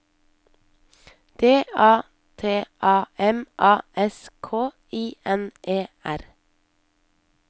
D A T A M A S K I N E R